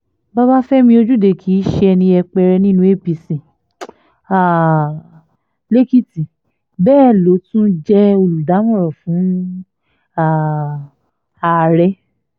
babafẹ́mi ojúde kí ṣe ẹni yẹpẹrẹ nínú apc um lèkìtì bẹ́ẹ̀ ló tún jẹ́ olùdámọ̀ràn fún um ààrẹ